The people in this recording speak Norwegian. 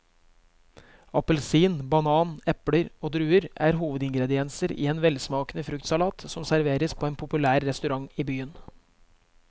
Appelsin, banan, eple og druer er hovedingredienser i en velsmakende fruktsalat som serveres på en populær restaurant i byen.